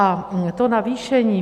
A to navýšení.